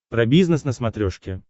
про бизнес на смотрешке